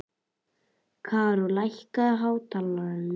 Karó, lækkaðu í hátalaranum.